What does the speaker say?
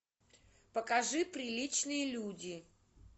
покажи приличные люди